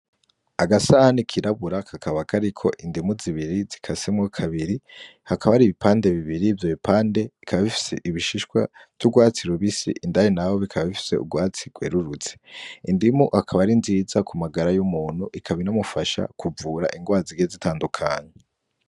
Agasahani kirabura kakaba kariko indimu zibiri zikasemwo kabiri. Hakaba hari ibipande bibiri; ivyo bipande bikaba bifise ibishishwa vy'urwatsi rubisi, indani naho bikaba bifise urwatsi rwerurutse. Indimu ikaba ari nziza ku magara y'umuntu ikaba inamufasha kuvura indwara zigiye zitandukanye.